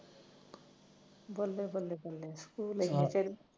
ਬਲੇ ਬਲੇ ਤੂੰ ਗਈ ਐ ਲੈ ਕੇ